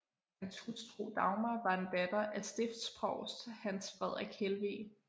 Hans hustru Dagmar var en datter af stiftsprovst Hans Frederik Helveg